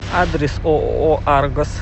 адрес ооо аргос